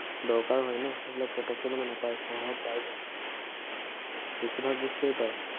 দৰকাৰ হয় ন, সেইবিলাক পটক্কে মানে নাপায়, চহৰত পাই যায়। বেছিভাগ বস্তুৱে পায়।